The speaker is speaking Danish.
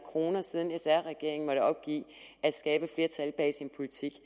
kr siden sr regeringen måtte opgive at skabe flertal bag sin politik